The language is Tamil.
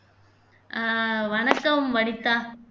அஹ் வணக்கம் வனிதா